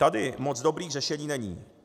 Tady moc dobrých řešení není.